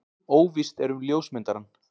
Óvíst er um ljósmyndarann.